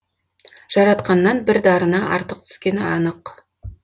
жаратқаннан бір дарыны артық түскені анық